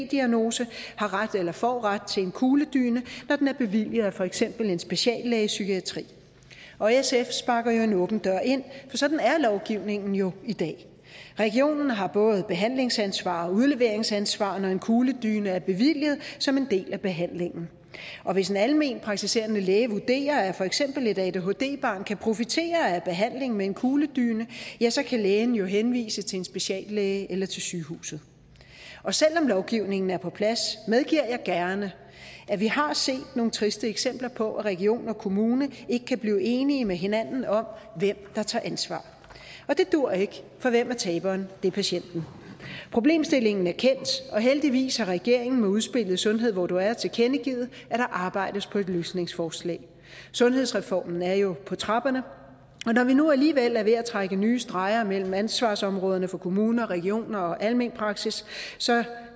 diagnose har ret eller får ret til en kugledyne når den er bevilget af for eksempel en speciallæge i psykiatri og sf sparker en åben dør ind for sådan er lovgivningen jo i dag regionen har både behandlingsansvar og udleveringsansvar når en kugledyne er bevilget som en del af behandlingen og hvis en alment praktiserende læge vurderer at for eksempel et adhd barn kan profitere af en behandling med en kugledyne så kan lægen jo henvise til en speciallæge eller til sygehuset og selv om lovgivningen er på plads medgiver jeg gerne at vi har set nogle triste eksempler på at region og kommune ikke kan blive enige med hinanden om hvem der tager ansvar og det duer ikke for hvem er taberen det er patienten problemstillingen er kendt og heldigvis har regeringen med udspillet sundhed hvor du er tilkendegivet at der arbejdes på et løsningsforslag sundhedsreformen er jo på trapperne og når vi nu alligevel er ved at trække nye streger mellem ansvarsområderne for kommuner og regioner og almen praksis så